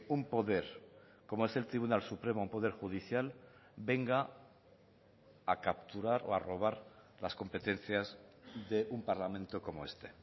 un poder como es el tribunal supremo un poder judicial venga a capturar o a robar las competencias de un parlamento como este